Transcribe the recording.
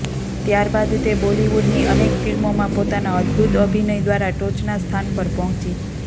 ત્યારબાદ તે બોલીવુડની અનેક ફિલ્મોમાં પોતાના અદ્દભૂત અભિનય દ્વારા ટોચના સ્થાન પર પહોંચી